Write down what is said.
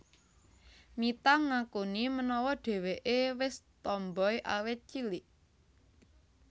Mitha ngakuni menawa dheweké wis tomboy awit cilik